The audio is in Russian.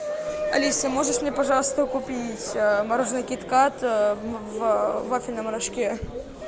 алиса можешь мне пожалуйста купить мороженое кит кат в вафельном рожке